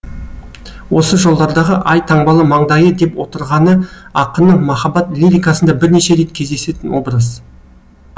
осы жолдардағы ай таңбалы маңдайы деп отырғаны ақынның махаббат лирикасында бірнеше рет кездесетін образ